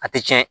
A tɛ tiɲɛ